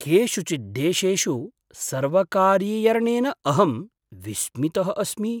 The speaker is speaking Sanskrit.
केषुचित् देशेषु सर्वकारीयर्णेन अहं विस्मितः अस्मि।